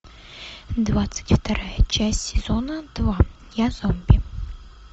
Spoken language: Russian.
двадцать вторая часть сезона два я зомби